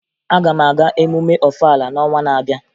Aga m aga emume Ọfala n'ọnwa na-abịa